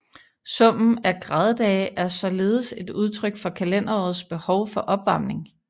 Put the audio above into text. Summen af graddage er således et udtryk for kalenderårets behov for opvarmning